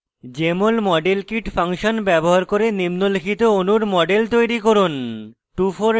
jmol model kit function ব্যবহার করে নিম্নলিখিত অণুর models তৈরী করুন: